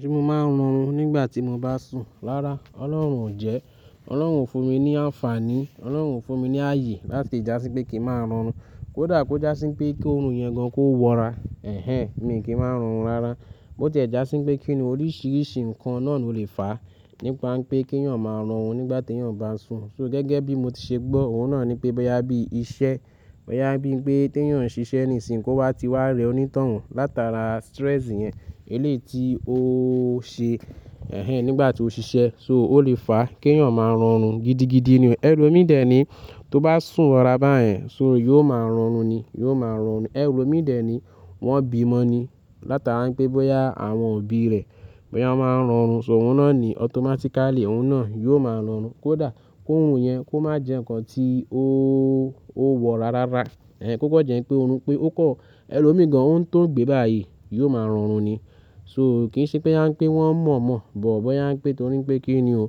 Ṣé mo máa ń rorun nígbà tí mo bá sùn? Rárá Ọlọ́run o jẹ́. Ọlọ́run fún mi ní ànfàní, Ọlọ́run fún mi ní ààyè láti já sí pé kí n máa rọrùn. Kódà kó já sí pé kí òórùn yẹn gan kó wọra, ẹhẹ̀n mi kì í máa ń rọrùn rárá. Bó tí ẹ já sí pé kí ni oríṣiríṣi nǹkan náà ló lè fà nípa pé kí eyàn máa rọrùn nígbà tí eyán bá sùn. So gẹ́gẹ́ bí mo ti ṣe gbọ́, òun náà ni pé bóyá bí iṣẹ́, bóyá bí i pé tí eyán ń ṣiṣẹ́ ní ìsìn yi kó wá ti wá rẹ onítọ̀hún látara stress yẹn, eléyi ti ó ṣe, ẹhẹ̀n nígbà tí ó ṣiṣẹ́ so ó lè fà kí eyán máa rọrùn gidi-gidi ni. Ẹ̀lo mi dẹ̀ ní tó bá sùn wọra bá yẹn so yóò máa rọrùn ni, yóò máa rọrùn ni. Ẹ̀lo mi dẹ̀ ní wọ́n bímọ ni látara pé bóyá àwọn òbí rẹ̀, bóyá wọ́n máa ń rọrùn so òun náà ni automatically òun náà yóò máa rọrùn. Kódà kó òórùn yẹn kó má jẹ́ ǹkan tí ó, ó wọ rárá, ẹhẹ̀n kó kọ jẹ́ pé òórùn pé ó kọ́. Ẹ̀lo mi gan òun tó gbé báyìí yóò máa rọrùn ni. So kì í ṣe pé boya ń pè wọ́n mọ̀ọ́ mọ̀ọ́ bó bóyá a ń pè torí pé kí ni o.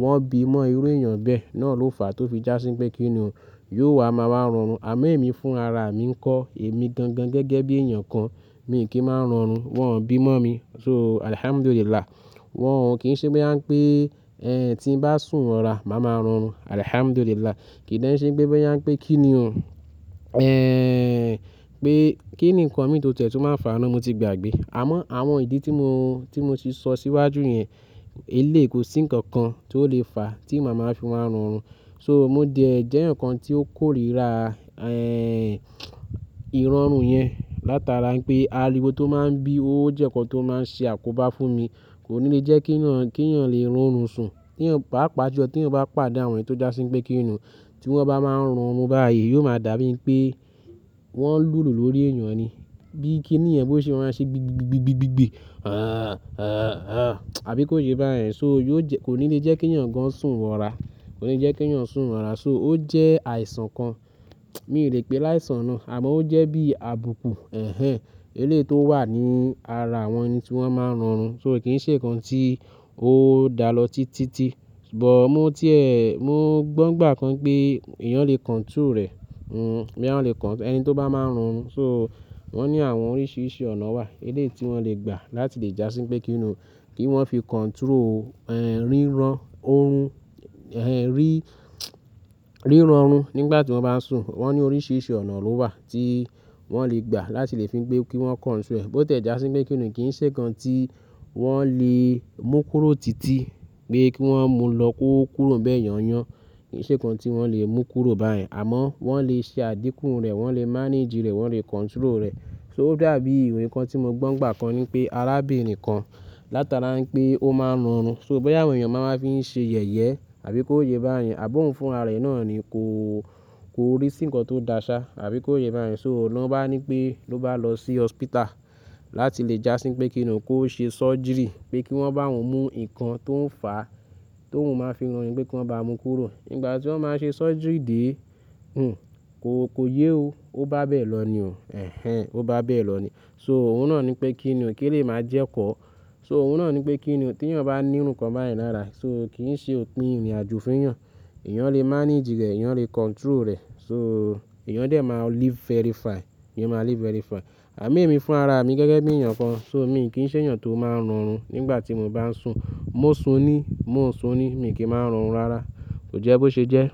Wọ́n bímọ irú èèyàn bẹ́ẹ̀ náà ló fà tó fi já sí pé kí ni o, yóò wá a máa wá rọrùn. Àmo ẹ́ẹ̀mi fún ara mi ńkọ́ èmi gan-gan gẹ́gẹ́ bí èèyàn kan mi kì í máa ń rọrùn. Wọn ò bímọ mi so Alhamdulillah. Wọn ò kí í ṣe bóyá ń pè, ẹhẹ̀n tí n bá sùn wọra màá máa rọrùn Alhamdulillah. Kì í de n sẹ́ pé bóyá ń pè kí ni o. Ehẹ̀n pé kí ni ǹkan mi tó ti ẹ̀ tùn máa fà á ná. Mo ti gbàgbé. Àmọ́ àwọn ìdí tí mo, tí mo ti sọ síwájú yẹn, eléyi kò sí ǹkan kan tó lè fà tí màá máa fi wá rọrùn. So mó dẹ̀ ẹ́ jẹ́ ǹkan tí ó kórìíra, ẹhẹ̀n ìrọrùn yẹn látara pé ariwo tó máa ń bí ó jẹ́ ǹkan tó máa ń ṣe àkóbá fún mi. Kò ní jẹ́ kí èyán, kí eyán lè rọrùn sùn. Tí èyán pá pá julo, tí èyán bá pàdé àwọn èyí tó já sí pé kí ni o. Tí wọ́n bá máa ń rọrùn báyìí yóò máa dà bí i pé wọ́n ń lùlù lórí èèyàn ni. Bíi kí ni yẹn bó ṣe ma á ṣe gbì gbì gbì gbì gbì gbì gbì. Ẹhẹ̀n, ẹhẹ̀n, ẹhẹ̀n àbí kó ṣe báyen. So yóò jẹ́, kò ní lè jẹ́ kí èyán gan sùn wọra. Kò ní jẹ́ kí ìyán sùn wọra. So ó jẹ́ àìsàn kan. Mi ò lè pè é láìsàn náà àmọ́ ó jẹ́ bí i abuku, ẹhẹ̀n eléèti ó wà ní ara àwọn ẹni tí wọ́n máa ń rọrùn. So kì í ṣe ǹkan tí ó dá lọ títí-títí. Bọ̀ mó tí ẹ́, mó gbọ́ nígbà kan pé èyán lè control rẹ̀. Hmm èyán lè control ẹni tó bá máa ń rọrùn. So wọ́n ní àwọn oríṣiríṣi ọ̀nà wà eléèti wọ́n lè gbà láti lè já sí pé kí ni o. Kí wọ́n fi control, ẹhẹ̀n ríran oorun, ẹhẹ̀n rí, ríran oorun nígbà tí wọ́n bá sùn. Wọ́n ní oríṣiríṣi ọ̀nà ló wà tí wọ́n lè gbà láti lè fi pé kí wọ́n control rẹ̀. Bó tí ẹ já sí pé kí ni o kì í ṣe ǹkan tí wọ́n lè mú kúrò títí pé kí wọ́n mú lọ kó kúrò bẹ́ẹ̀ yán yán. Kì í ṣe ǹkan tí wọ́n lè mú kúrò báyen àmọ́ wọ́n lè ṣe àdíkùú rẹ̀, wọ́n lè manage rẹ̀, wọ́n lè control rẹ̀. So ó dàbí ìròyìn kan tí mo gbọ́ nígbà kan ni pé arábìnrin kan látara pé ó máa ń rọrùn so bóyá àwọn èèyàn máa máa fi ń ṣe yẹ̀yẹ àbí kó yẹ báyìí. Àbi ohuń fún ara rẹ̀ náà ni kò, kò rí sí ǹkan tó dáṣá àbí kó yẹ báyìí. So lọ́ bá ní pé ló bá lọ sí hospital láti lè já sí pé kí ni o kó ṣe surgery pé kí wọ́n bá òun mú ǹkan tó ń fà á, tó ń máa fi rọrùn pé kí wọ́n bá mú kúrò. Nígbà tí wọ́n máa ń ṣe surgery dè é, hùn kò, kò yé o. Ó bá bẹ́ẹ̀ lọ ni o. Ẹhẹ̀n ó bá bẹ́ẹ̀ lọ ni. So òun náà ni pé kí ni o kí elèyi máa jẹ́ kọ́. So òun náà ni pé kí ni o tí èyán bá nírú ǹkan báyìí lára. So kì í ṣe òpin ìrìnàjò fún ìyán. Ìyán lè manage rẹ̀, ìyán lè control rẹ̀. So èyán dẹ̀ máa live very fine, èyán máa live very fine. Àmo ẹ́ẹ̀mi fún ara mi gẹ́gẹ́ bí èèyàn kan so mi kì í ṣe èèyàn tó máa ń rọrùn nígbà tí mo bá ń sùn. Mo sùn ní, mo sùn ní mi kì í máa ń rọrùn rárá. Kò jẹ́ bó ṣe jẹ́.